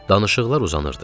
Danışıqlar uzanırdı.